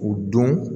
O dɔn